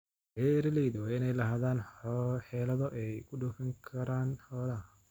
Beeralaydu waa inay lahaadaan xeelado ay ku dhoofin karaan xoolaha.